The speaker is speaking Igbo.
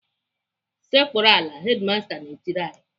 "Sekpuru ala!" Hedimasta na-etiri anyị.